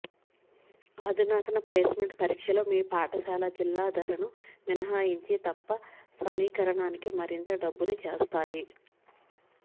అధునాతన ప్లేస్మెంట్ పరీక్షలు మీ పాఠశాల జిల్లా ధరను మినహాయించి తప్ప సమీకరణానికి మరింత డబ్బుని చేస్తాయి